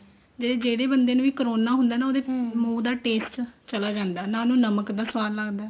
ਦੀਦੀ ਜਿਹੜੇ ਬੰਦੇ ਨੂੰ ਵੀ corona ਨਾ ਹੁੰਦਾ ਉਹਦੇ ਮੁੰਹ ਦਾ taste ਚਲਾ ਜਾਂਦਾ ਨਾ ਉਹਨੂੰ ਨਮਕ ਦਾ ਸਵਾਦ ਲੱਗਦਾ